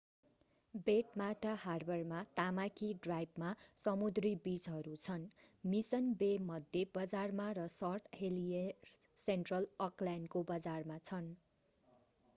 Waitemata हार्बरमा Tamaki ड्राइभमा समुद्री बिचहरू छन् मिशन बे मध्य बजारमा र सेन्ट हेलियर्स सेन्ट्रल अकल्यान्डको बजारमा छन्‌।